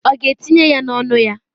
Ọ ga-etinye ya n'ọnụ ya?